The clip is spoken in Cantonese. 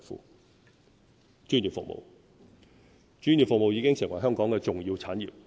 表1專業服務專業服務已經成為香港的重要產業。